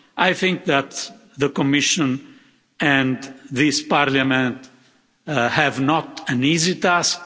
I think that the Commission and this Parliament have not an easy task.